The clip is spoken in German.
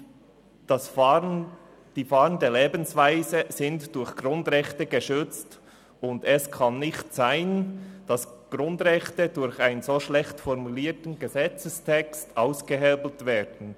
Die fahrende Lebensweise wird durch Grundrechte geschützt, und es kann nicht sein, dass Grundrechte durch einen so schlecht formulierten Gesetzestext ausgehebelt werden.